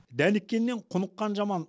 дәніккеннен құныққан жаман